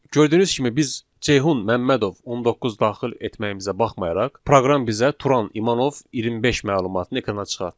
Gördüyünüz kimi biz Ceyhun Məmmədov 19 daxil etməyimizə baxmayaraq, proqram bizə Turan İmanov 25 məlumatını ekrana çıxarır.